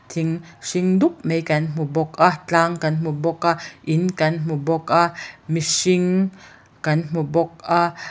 tling hring dum mai kan hmu bawk a tlâng kan hmu bawk a in kan hmu bawk a mihring kan hmu bawk a.